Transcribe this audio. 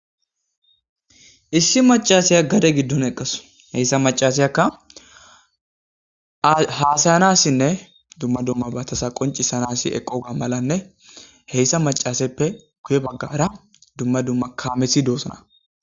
issi macashiya gade giddon eqqas heyssa macaseyakka haasayanassinne dumma dumma batasa qoncisanasi eqoga malanne heyssa macaseppe guye baggara dumma dumma kaameti doosana